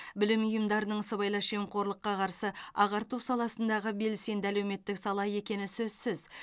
білім ұйымдарының сыбайлас жемқорлыққа қарсы ағарту саласындағы белсенді әлеуметтік сала екені сөзсіз